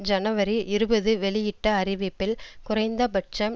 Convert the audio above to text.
ஜனவரி இருபது வெளியிட்ட அறிவிப்பில் குறைந்த பட்சம்